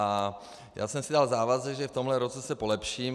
A já jsem si dal závazek, že v tomto roce se polepším.